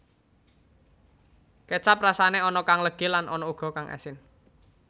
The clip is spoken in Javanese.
Kécap rasané ana kang legi lan ana uga kang asin